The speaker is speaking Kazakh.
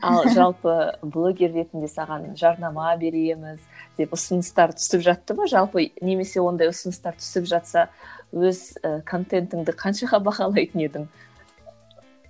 ал жалпы блогер ретінде саған жарнама береміз деп ұсыныстар түсіп жатты ма жалпы немесе ондай ұсыныстар түсіп жатса өз і контентіңді қаншаға бағалайтын едің